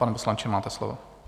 Pane poslanče, máte slovo.